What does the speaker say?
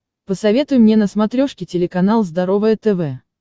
посоветуй мне на смотрешке телеканал здоровое тв